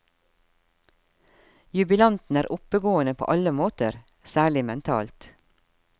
Jubilanten er oppegående på alle måter, særlig mentalt.